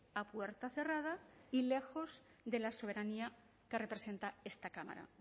a puerta cerrada y lejos de la soberanía que representa esta cámara